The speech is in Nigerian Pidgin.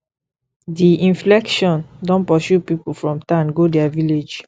di inflation don pursue pipu from town go their village